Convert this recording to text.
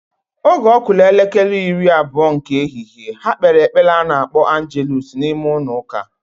Oge okulu elekere iri-abuo nke ehihe, ha kpere epele anakpo angeluusu na ime-ulo uka.